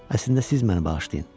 Əslində siz məni bağışlayın.